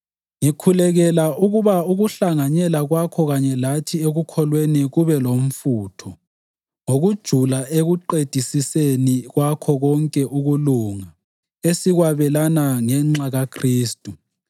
Ngikhulekela ukuba ukuhlanganyela kwakho kanye lathi ekukholweni kube lomfutho ngokujula ekuqedisiseni kwakho konke ukulunga esikwabelana ngenxa kaKhristu.